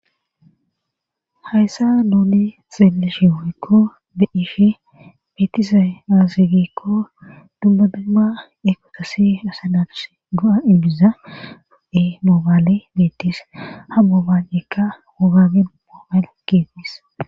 hayssa nuuni xeelishi woykko be7ishi betizay azigikko dumma dumma eqotosi asa naafus go7a ilbiza fu7e moobaale beettis ha mobanekka wogagen moomal geetis